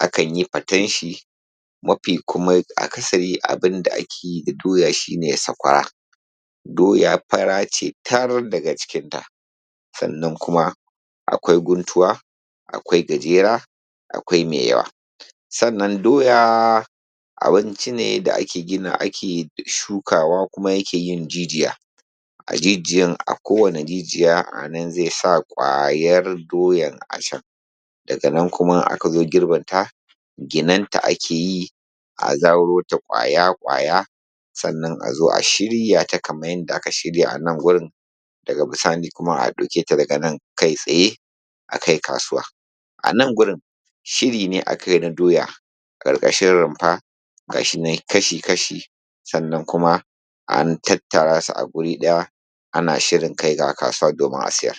akan yi faten shi, mafi kuma akasari abin da ake yi da doya shi ne sakwara. Doya fara ce kar daga cikinta, sannan kuma akwai guntuwa, akwai gajera, mai yawa. Sannan doya abinci ne da ake gina, ake shukawa kuma yake yin jijiya, a jijiyan a kowane jijiya anan zai sa ƙwayar doyan a can. Daga nan kuma in aka zo girbinta, ginanta ake yi a zaro ta ƙwaya-ƙwaya, sannan a zo a shirya ta kaman yadda aka shirya a nan wurin, daga bisani kuma a ɗauke ta daga nan kai tsaye a kai kasuwa. Anan gurin shiri ne aka yin a doya, ƙarƙashi rumfa ga shi nan kashi-kashi sannan kuma an tattara su a guri ɗaya ana shirin kai wa kasuwa domin a siyar.